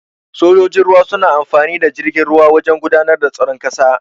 Sojojin ruwa suna amfani da jirgin ruwa wajan gudanar da tsaron ƙasa.